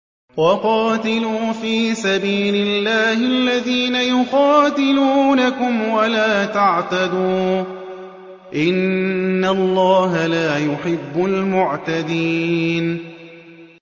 وَقَاتِلُوا فِي سَبِيلِ اللَّهِ الَّذِينَ يُقَاتِلُونَكُمْ وَلَا تَعْتَدُوا ۚ إِنَّ اللَّهَ لَا يُحِبُّ الْمُعْتَدِينَ